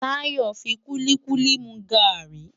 Tayo n fi kúlikúli mú gári